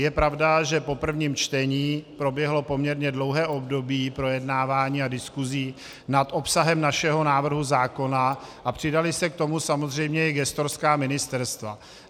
Je pravda, že po prvním čtení proběhlo poměrně dlouhé období projednávání a diskuse nad obsahem našeho návrhu zákona a přidala se k tomu samozřejmě i gestorská ministerstva.